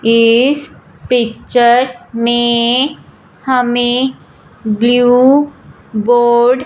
इस पिक्चर में हमें ब्लू बोर्ड --